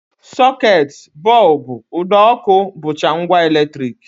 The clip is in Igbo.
Socket, bọlbụ, ụdọọkụ, bụcha ngwa eletrik